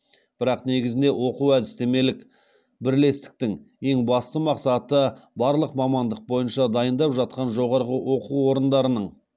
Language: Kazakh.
бірақ негізінде оқу әдістемелік бірлестіктің ең басты мақсаты барлық мамандық бойынша дайындап жатқан жоғарғы оқу орындарының